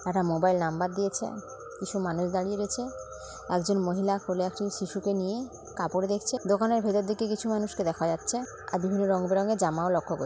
একটা mobile number দিয়েছে কিছু মানুষ দাঁড়িয়ে রয়েছে একজন মহিলা কোলে একজন শিশুকে নিয়ে কাপড়ে দেখছে দোকানের ভেতর দিকে কিছু মানুষকে দেখা যাচ্ছে আর বিভিন্ন রংবেরোনো জামাও লক্ষ্য কর --